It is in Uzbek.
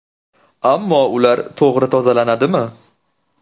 Ammo ular to‘g‘ri tozalanadimi?